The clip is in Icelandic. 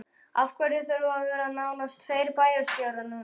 Af hverju þurfa að vera nánast tveir bæjarstjórar núna?